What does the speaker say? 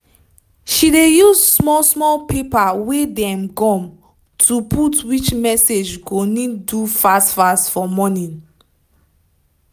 she dey use small small paper wey dey gum to put which message go need do fast fast for morning